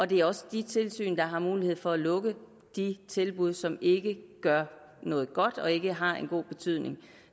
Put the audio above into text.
det er også de tilsyn der har mulighed for at lukke de tilbud som ikke gør noget godt og ikke har en god betydning